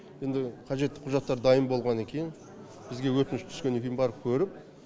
енді қажетті құжаттар дайын болғанна кейін бізге өтініш түскеннен кейін барып көріп